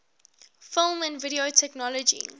film and video technology